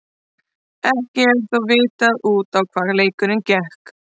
Ekki er þó vitað út á hvað leikurinn gekk.